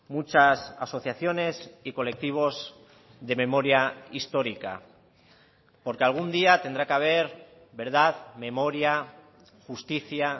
muchas asociaciones y colectivos de memoria histórica porque algún día tendrá que haber verdad memoria justicia